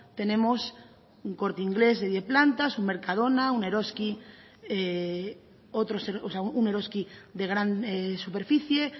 tenemos un corte inglés de diez plantas un mercadona un eroski de gran superficie